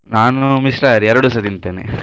ನಾನು ಮಿಶ್ರಾಹಾರಿ ಎರಡುಸ ತಿಂತೇನೆ.